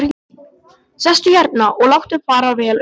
Sestu hérna og láttu fara vel um þig!